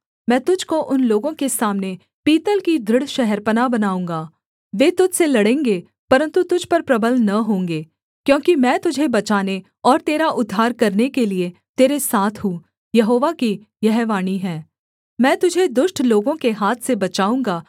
मैं तुझको उन लोगों के सामने पीतल की दृढ़ शहरपनाह बनाऊँगा वे तुझ से लड़ेंगे परन्तु तुझ पर प्रबल न होंगे क्योंकि मैं तुझे बचाने और तेरा उद्धार करने के लिये तेरे साथ हूँ यहोवा की यह वाणी है मैं तुझे दुष्ट लोगों के हाथ से बचाऊँगा